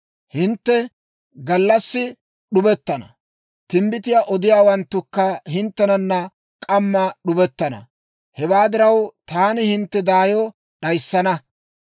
Hintte gallassi d'ubettana; timbbitiyaa odiyaawanttukka hinttenana k'amma d'ubettana. Hewaa diraw, taani hintte daayo d'ayissana.